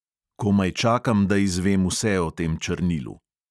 Komaj čakam, da izvem vse o tem črnilu.